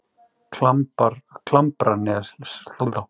Klambraseli